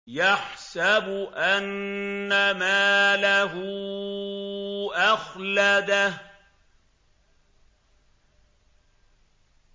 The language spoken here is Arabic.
يَحْسَبُ أَنَّ مَالَهُ أَخْلَدَهُ